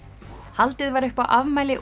haldið var upp á afmæli